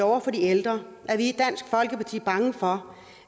over for de ældre er vi i dansk folkeparti bange for